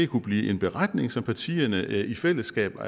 kunne blive en beretning som partierne i fællesskab